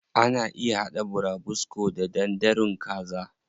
Ana iya haɗa burabusko da danderun kaza.